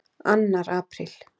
ANNAR APRÍL